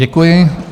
Děkuji.